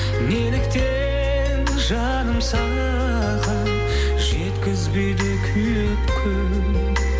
неліктен жаным саған жеткізбейді күйік күн